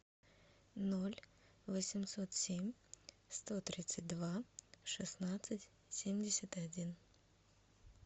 ноль восемьсот семь сто тридцать два шестнадцать семьдесят один